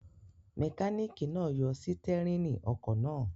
Mẹkáníkì náà yọ sítẹ́rínì ọkọ̀ náà.